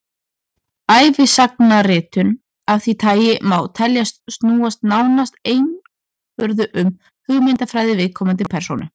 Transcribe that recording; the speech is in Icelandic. ævisagnaritun af því tagi má teljast snúast nánast einvörðungu um hugmyndafræði viðkomandi persónu